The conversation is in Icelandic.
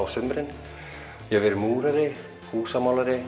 sumrin ég hef verið múrari